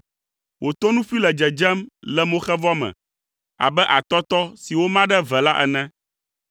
Wò tonuƒui le dzedzem le moxevɔ me abe atɔtɔ si woma ɖe eve la ene.